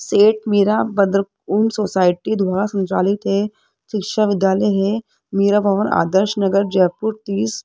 सेठ मीरा उन सोसाइटी द्वारा संचालित है शिक्षा विद्यालय है मीरा भवन आदर्श नगर जयपुर तिस --